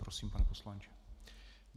Prosím, pane poslanče.